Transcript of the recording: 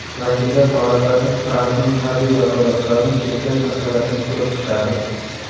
Vakillar palatasi Trampning harbiy vakolatlarini cheklash masalasini ko‘rib chiqadi.